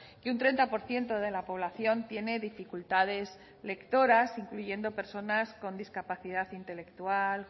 que un treinta por ciento de la población tiene dificultades lectoras incluyendo personas con discapacidad intelectual